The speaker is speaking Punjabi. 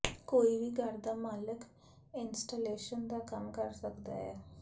ਕੋਈ ਵੀ ਘਰ ਦਾ ਮਾਲਕ ਇੰਸਟਾਲੇਸ਼ਨ ਦਾ ਕੰਮ ਕਰ ਸਕਦਾ ਹੈ